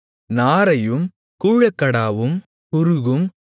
நாரையும் கூழக்கடாவும் குருகும்